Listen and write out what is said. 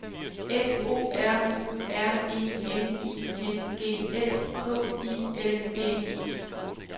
F O R U R E N I N G S K I L D E